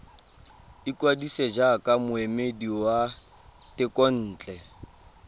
ikwadisa jaaka moemedi wa thekontle